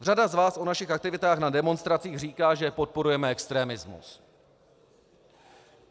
Řada z vás o našich aktivitách na demonstracích říká, že podporujeme extremismus.